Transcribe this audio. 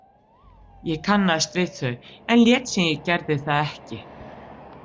Ég kannaðist við þau, en lét sem ég gerði það ekki.